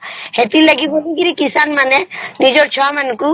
ସେଥିର ଲାଗି କିଷାନ ମାନେ ନିଜର ଛୁଆ ମାନଙ୍କୁ ବହୁତ ଲେଖା ପାଠ ପଢ଼େଇକିରି